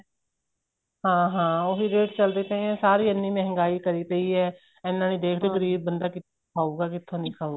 ਹਾਂ ਹਾਂ ਉਹੀ ਰੇਟ ਚੱਲਦੇ ਪਏ ਏ ਸਾਰੀ ਐਨੀ ਮਹਿੰਗਾਈ ਕਰੀ ਪਈ ਏ ਐਨਾ ਨਹੀਂ ਦੇਖਦੇ ਗਰੀਬ ਬੰਦਾ ਕਿੱਥੋ ਕਿੱਥੋ ਨਹੀਂ ਖਾਉਗਾ